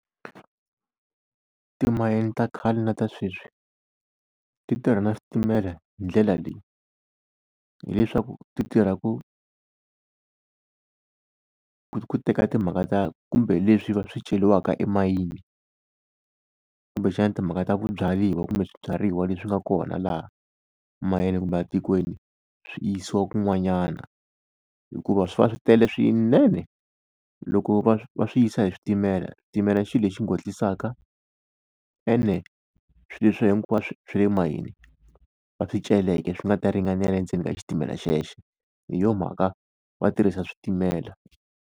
Timayini ta khale na ta sweswi ti tirha na switimela hi ndlela leyi, hileswaku ti tirha ku ku teka timhaka kumbe leswi swi ceriwaka emayini, kumbexana timhaka ta ku byariwa kumbe swibyariwa leswi nga kona laha mayini kumbe etikweni swi yisiwa kun'wanyana hikuva swi va swi tele swinene. Loko va va swi yisa hi switimela, xitimela i xilo lexi ngwetlisaka, ene swilo leswi hinkwaswo swa le mayini va swi celeke swi nga ta ringanela endzeni ka xitimela xexo hi yona mhaka va tirhisa switimela.